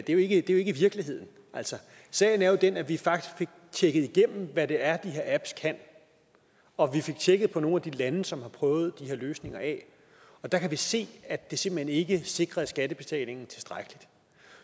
det er jo ikke virkeligheden altså sagen er den at vi faktisk fik tjekket igennem hvad det er de her apps kan og vi fik tjekket op på nogle af de lande som har prøvet de her løsninger af og der kan vi se at det simpelt hen ikke sikrer skattebetalingen tilstrækkeligt